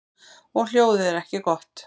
Og hljóðið er ekki gott.